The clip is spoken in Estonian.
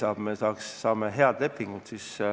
On võimalik sõlmida häid lepinguid.